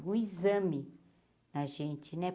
Um exame na gente, né?